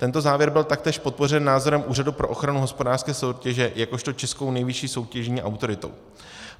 Tento závěr byl taktéž podpořen názorem Úřadu pro ochranu hospodářské soutěže jakožto českou nejvyšší soutěžní autoritou.